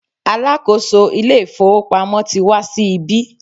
alákóso ilé ifowópamọ́ ti wá sí ibí